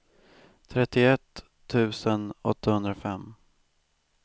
trettioett tusen åttahundrafem